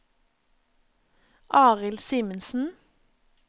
Arild Simensen